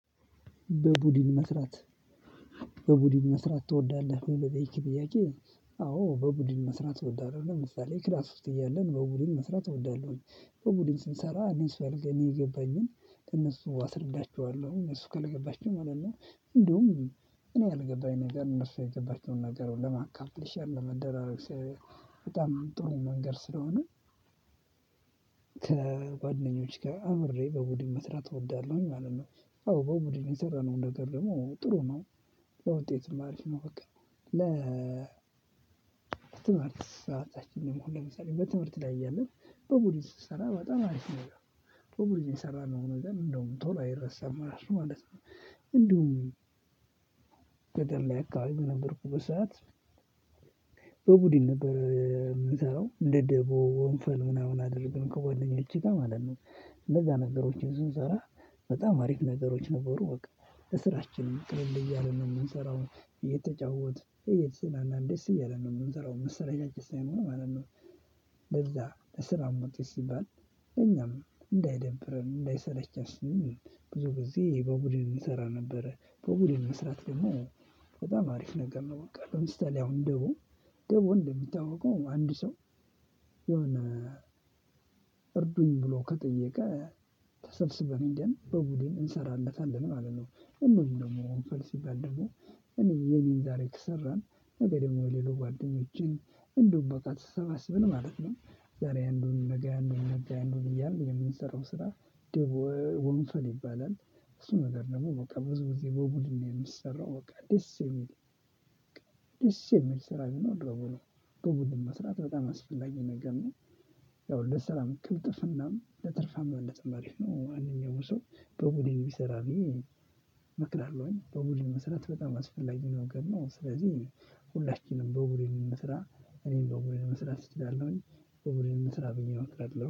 በቡድን መስራት በቡድን መስራት ትወዳለህ ወይ? ለጠየከኝ ጥያቄ አዎ በቡድን መስራት እወዳለሁ ለምሳሌ ክላስ ውስጥ እያለን በቡድን መስራት እወዳለሁኝ። በቡድን ስንሰራ እኔ ስባል ገኔ የገባኝን ከእነሱ አስርዳቸዋለሁ እነሱ ካልገባችሁ ማለት ነው። እንደውም እኔ ያልገባኝ ነገር እነሱ የገባችውን ነገር ለማካምፕሊሼር ለመደራረግ ሳይሆን በጣም አንጦን መንገድ ስለሆነ። ከጓደኞች ጋር አብሬ በቡድን መስራት እወዳለሁኝ ማለት ነው። አዎ በቡድን የሰራነው ነገር ደግሞ ጥሩ ነው። ለውጤትም አሪፍ ነው በቃ። ለ ትምህርት ሰአታችንን ሁሉ ለምሳሌ በትምህርት ላይ እያለን በቡድን ስንሰራ በጣም አሪፍ ነው። በቡድን የሰራነው ነገር እንደውም ቶሎ አይረሳም እራሱ ማለት ነው። እንደውም ገደል ላይ አካባቢ ነበርኩ። በሰአት በቡድን ነገር የምትሰራው እንደ ደቦ ወንፈል ምናምን አደረገን ከጓደኞቼ ጋር ማለት ነው እነዛ ነገሮችን ስንሰራ በጣም አሪፍ ነገሮች ነበሩ። እወቅ ለስራችንም ቅልል እያለ ነው የምንሰራው እየተጫወትን እየተዝናናን ደስ እያለ ነው የምንሰራው መሰለቻቸት ሳይኖር ማለት ነው። ለዛ ለስራው መውጣት ሲባል ለኛም እንዳይደብርም እንዳይሰለችም። ብዙ ጊዜ በቡድን እንሰራ ነበረ በቡድን መስራት ደግሞ በጣም አሪፍ ነገር ነው። በቃ ለምሳሌ አሁን ደቦ ደቦ እንደሚታወቀው አንድ ሰው። የሆነ እርዱኝ ብሎ ከጠየቀ ተሰብስበን ደግሞ በቡድን እንሰራለታለን ማለት ነው። እነሱንም ደግሞ ወንፈል ሲባል ደግሞ እኔ የሚል ዛሬ ከሰራን ነገ ደግሞ የሌሉ ጓደኞቼን እንደውም በቃ ተሰባስብን ማለት ነው። ዛሬ አንዱን ነገ አንዱን ነገ አንዱን እያልን የምንሰራው ስራ ደቦ ይባላል። እሱ ነገር ደግሞ በቃ ብዙ ጊዜ በቡድን ነው የሚሰራው በቃ ደስ የሚል ደስ የሚል ስራ ቢኖር ደቦ ነው። ግቡን መስራት በጣም አስፈላጊ ነገር ነው። ያው ለሰላም ቅልጥፍናም ለትርፋም እንደተማሪሽ ነው አንደኛው ሰው በቡድን ቢሰራ ብዬ እመክራለሁኝ። በቡድን መሰረት በጣም አስፈላጊ ነው ገብቶናል። ስለዚህ ሁላችንም በቡድን መስራት እኔም በቡድን ስራ ስትል አለውኝ በኦብሬም ስራ ብኛ እወቃለሁ